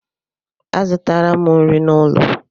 Azụtara m nri n'ụlọ.